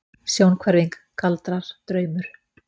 Sjónhverfing, galdrar, draumur?